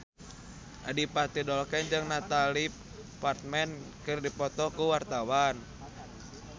Adipati Dolken jeung Natalie Portman keur dipoto ku wartawan